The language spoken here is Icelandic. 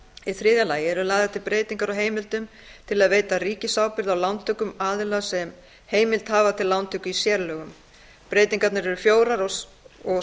í þriðja lagi eru lagðar til breytingar á heimildum til að veita ríkisábyrgð á lántökum aðila sem heimild hafa til lántöku í sérlögum breytingarnar eru fjórar og